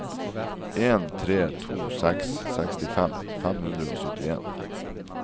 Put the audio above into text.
en tre to seks sekstifem fem hundre og syttien